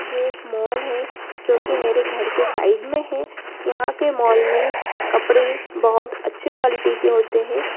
ये एक मॉल है जो की मेरे घर के साइड मे है यहां के मॉल मे कपड़े बोहोत अच्छे क्वालिटी के होते है।